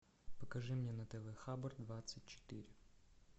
покажи мне на тв хабар двадцать четыре